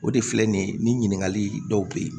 O de filɛ nin ye ni ɲininkali dɔw bɛ ye